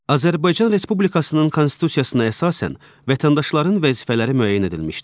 Azərbaycan Respublikasının Konstitusiyasına əsasən vətəndaşların vəzifələri müəyyən edilmişdir.